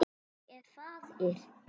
Ég er faðir.